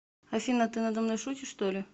афина ты на домной шутишь что ли